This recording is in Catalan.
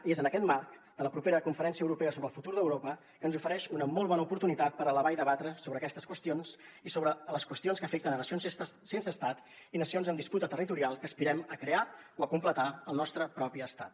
i és en aquest marc de la propera conferència europea sobre el futur d’europa que ens ofereix una molt bona oportunitat per elevar i debatre sobre aquestes qüestions i sobre les qüestions que afecten nacions sense estat i nacions en disputa territorial que aspirem a crear o a completar al nostre propi estat